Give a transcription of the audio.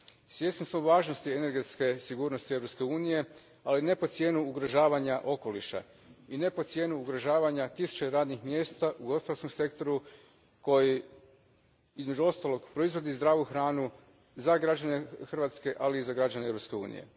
Svjesni smo važnosti energetske sigurnosti Europske unije, ali ne po cijenu ugrožavanja okoliša, i ne pod cijenu ugrožavanja tisuća radnih mjesta u gospodarskom sektoru koji između ostalog proizvodi zdravu hranu za građane Hrvatske, ali i za građane Europske unije.